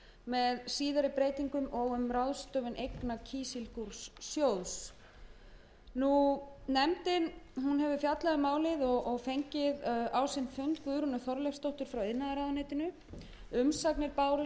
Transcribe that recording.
með síðari breytingum og um ráðstöfun eigna kísilgúrsjóðs nefndin hefur fjallað um frumvarpið og fengið á sinn fund guðrúnu þorleifsdóttur frá iðnaðarráðuneyti umsagnir bárust frá